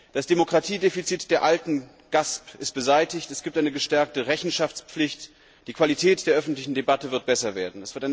Das Demokratiedefizit der alten GASP ist beseitigt, es gibt eine gestärkte Rechenschaftspflicht, die Qualität der öffentlichen Debatte wird besser werden.